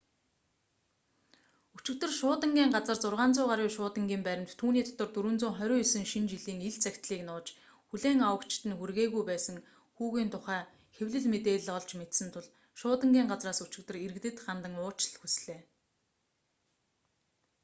өчигдөр шуудангийн газар 600 гаруй шуудангийн баримт түүний дотор 429 шинэ жилийн ил захидлыг нууж хүлээн авагчид нь хүргээгүй байсан хүүгийн тухай хэвлэл мэдээлэл олж мэдсэн тул шуудангийн газраас өчигдөр иргэдэд хандан уучлал хүслээ